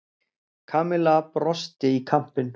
Kamilla brosti í kampinn.